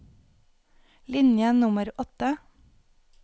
Linje nummer åtte